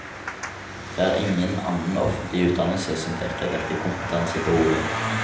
Det er ingen annen offentlig utdannelse som dekker dette kompetansebehovet.